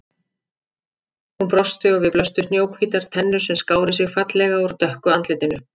Hún brosti og við honum blöstu snjóhvítar tennur sem skáru sig fallega úr dökku andlitinu.